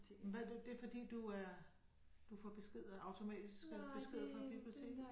Hvad det det fordi du er du får besked øh automatisk øh beskeder fra biblioteket